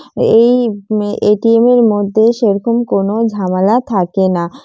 এই ম এ.টি.এম. এর মধ্যে সেরকম কোনো ঝামেলা থাকে না ।